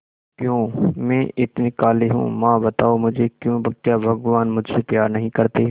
क्यों मैं इतनी काली हूं मां बताओ मुझे क्यों क्या भगवान मुझसे प्यार नहीं करते